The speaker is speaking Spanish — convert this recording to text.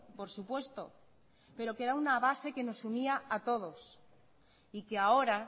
por supuesto pero que era una base que nos unía a todos y que ahora